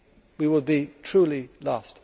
We would be truly lost.